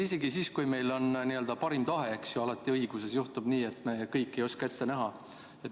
Isegi siis, kui meil on parim tahe, juhtub õiguses tihtipeale nii, et kõike ei osata ette näha.